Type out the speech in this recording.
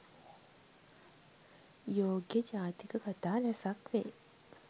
යෝග්‍ය ජාතක කථා රැසක් වේ.